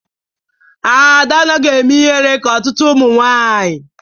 Ada anaghị eme ịhere ka ọtụtụ ụmụ nwanyị